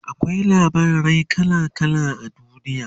akwai labarai kala kala a duniya